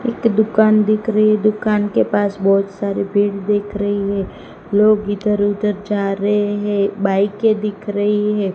एक दुकान दिख रही दुकान के पास बहोत सारे पेड़ देख रहे है लोग इधर उधर जा रहे हैं बाइके दिख रही है।